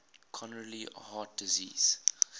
coronary heart disease